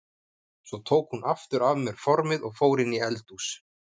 Svo tók hún aftur af mér formið og fór inn í eldhús.